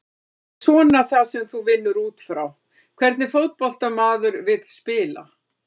Það er svona það sem þú vinnur útfrá, hvernig fótbolta maður vill spila?